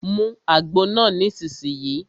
Mu àgbo náà nísìsiyìí!